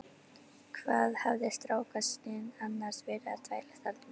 Hvað hafði strákasninn annars verið að þvælast þarna?